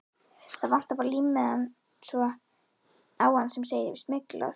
Það vantar bara límmiðann á hann sem segir SMYGLAÐ.